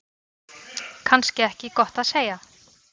Kannski ekki gott að segja.